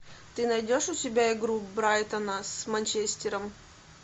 ты найдешь у себя игру брайтона с манчестером